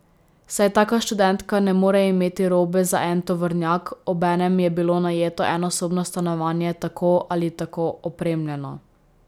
Saj taka študentka ne more imeti robe za en tovornjak, obenem je bilo najeto enosobno stanovanje tako ali tako opremljeno.